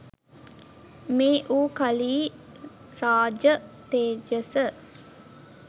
මේ වූ කලි රාජ තේජස